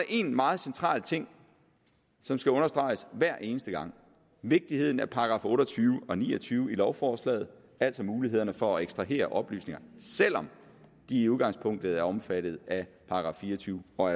en meget central ting som skal understreges hver eneste gang vigtigheden af § otte og tyve og ni og tyve i lovforslaget altså mulighederne for at ekstrahere oplysninger selv om de i udgangspunktet er omfattet af § fire og tyve og